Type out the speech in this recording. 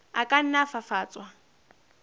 a ka nna a fafatswa